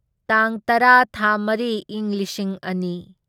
ꯇꯥꯡ ꯇꯔꯥ ꯊꯥ ꯃꯔꯤ ꯢꯪ ꯂꯤꯁꯤꯡ ꯑꯅꯤ